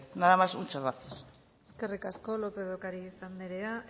nada más muchas gracias eskerrik asko lópez de ocariz anderea